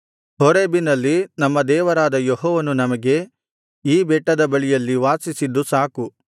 ಹೋರೇಬಿನಲ್ಲಿ ನಮ್ಮ ದೇವರಾದ ಯೆಹೋವನು ನಮಗೆ ನೀವು ಈ ಬೆಟ್ಟದ ಬಳಿಯಲ್ಲಿ ವಾಸಿಸಿದ್ದು ಸಾಕು